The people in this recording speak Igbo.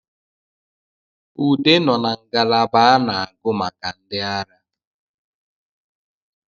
Ude nọ na ngalaba a na-agụ maka ndi ara